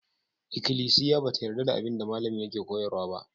Ikklisiya ba ta yarda da abin da malamin yake koyarwa ba.